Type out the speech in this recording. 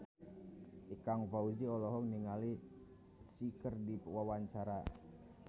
Ikang Fawzi olohok ningali Psy keur diwawancara